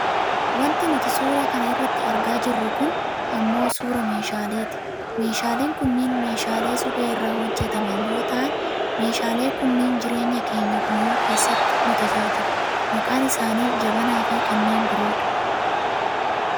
Wanti nuti suuraa kana irratti argaa jirru kun ammoo suuraa meeshaaleeti . Meeshaaleen kunniin meeshaalee suphee irraa hojjataman yoo ta'an , meeshaalee kunniin jireenya keenya guyyuu keessatti nu tajaajilu. Maqaan isaani jabanaafi kanneen biroo dha.